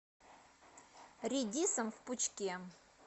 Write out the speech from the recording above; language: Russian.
редисом в пучке